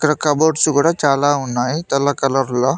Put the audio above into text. Cupboards కూడా చాలా ఉన్నాయి తెల్ల కలర్ లో.